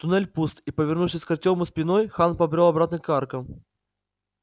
туннель пуст и повернувшись к артёму спиной хан побрёл обратно к аркам